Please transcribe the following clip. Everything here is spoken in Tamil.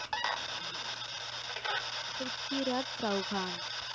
ப்ரித்விராஜ் சவ்ஹான்